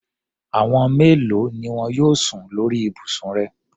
Àwọn mélòo ni wọn yóò sùn lórí ibùsùn rẹ?